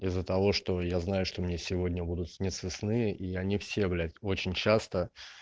из-за того что я знаю что мне сегодня будут сниться сны и они все блять очень часто